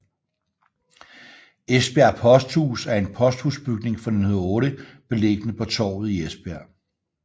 Esbjerg Posthus er en posthusbygning fra 1908 beliggende på Torvet i Esbjerg